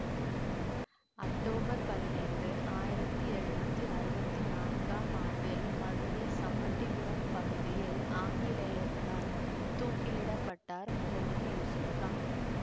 October பதினைந்து ஆயிரத்தி எழுநூத்தி அறுவத்தி நான்காம் ஆண்டில் மதுரை சம்மட்டிபுரம் பகுதியில் ஆங்கிலேயர்களால் தூக்கிலிப்பட்டார் முகமது யூசூப் கான்